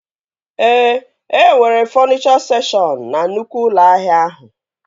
Ee, e nwere fọnichọ sekshọn na nnukwu ụlọ ahịa ahụ